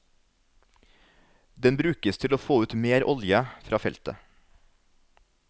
Den brukes til å få ut mer olje fra feltet.